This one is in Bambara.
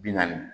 Bi naani